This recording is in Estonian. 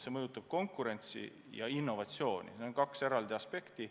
Regulatsioonid ja innovatsioon – need on kaks eraldi aspekti.